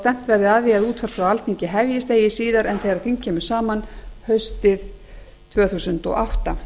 stefnt verði að því að útvarp frá alþingi hefjist eigi síðar en þegar þing kemur saman haustið tvö þúsund og átta